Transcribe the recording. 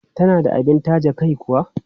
Tana da abin taje kai kuwa?